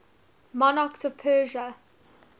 monarchs of persia